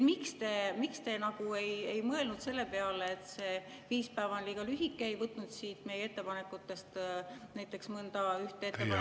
Miks te ei mõelnud selle peale, et see viis päeva on liiga lühike, ja ei võtnud siit meie ettepanekutest näiteks mõnda ettepanekut arvesse?